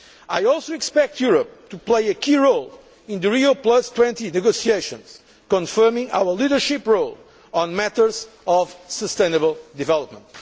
I also expect Europe to play a key role in the Rio20 negotiations, confirming our leadership role on matters of sustainable development.